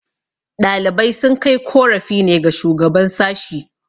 ɗalibai sun kai korafi ne ga shugaban sashi